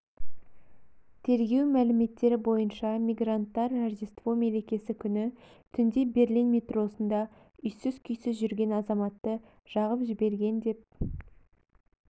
тергеу мәліметтері бойынша мигранттар рождество мерекесі күні түнде берлин метросында үйсіз-күйсіз жүрген азаматты жағып жіберген деп